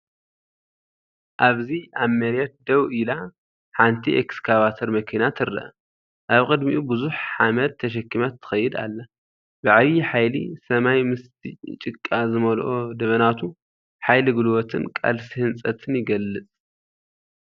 ኣብዚ ኣብ መሬት ደው ኢላ፡ ሓንቲ ኤክስካቫተር መኪና ትርአ። ኣብ ቅድሚኡ ብዙሕ ሓመድ ተሰኪማ ትኸይድ ኣላ፣ ብዓቢ ሓይሊ። ሰማይ ምስቲ ጭቃ ዝመልኦ ደበናቱ ሓይሊ ጉልበትን ቃልሲ ህንጸትን ይገልጽ።